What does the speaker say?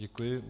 Děkuji.